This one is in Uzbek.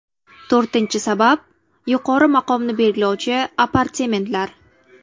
To‘rtinchi sabab: yuqori maqomni belgilovchi apartamentlar.